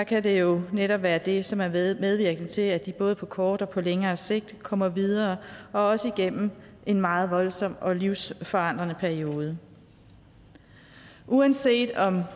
kan det jo netop være det som er medvirkende til at de både på kort og på længere sigt kommer videre og også igennem en meget voldsom og livsvforandrende periode uanset om